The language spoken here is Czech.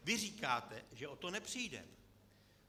Vy říkáte, že o to nepřijdeme.